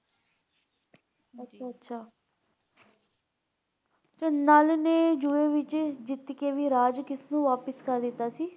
ਅੱਛਾ-ਅੱਛਾ ਤੇ ਨਲ ਨੇ ਜੂਏ ਵਿਚ ਜਿੱਤ ਕੇ ਵੀ ਰਾਜ ਕਿਸਨੂੰ ਵਾਪਸ ਕਰ ਦਿੱਤਾ ਸੀ?